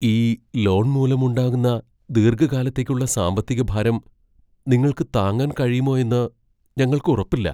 ഈ ലോൺ മൂലമുണ്ടാകുന്ന ദീർഘകാലത്തേക്കുള്ള സാമ്പത്തിക ഭാരം നിങ്ങൾക്ക് താങ്ങാൻ കഴിയുമോ എന്ന് ഞങ്ങൾക്ക് ഉറപ്പില്ല.